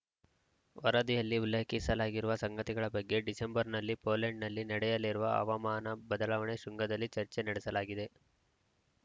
ವರದಿಯಲ್ಲಿ ಉಲ್ಲೇಖಿಸಲಾಗಿರುವ ಸಂಗತಿಗಳ ಬಗ್ಗೆ ಡಿಸೆಂಬರ್‌ನಲ್ಲಿ ಪೋಲೆಂಡ್‌ನಲ್ಲಿ ನಡೆಯಲಿರುವ ಹವಾಮಾನ ಬದಲಾವಣೆ ಶೃಂಗದಲ್ಲಿ ಚರ್ಚೆ ನಡೆಸಲಾಗಿದೆ